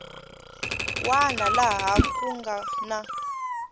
wana laha ku nga na